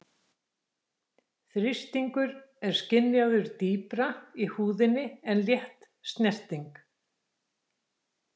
Þrýstingur er skynjaður dýpra í húðinni en létt snerting.